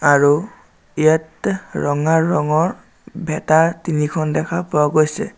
আৰু ইয়াত ৰঙা ৰঙৰ ভেঁটা তিনিখন দেখা পোৱা গৈছে।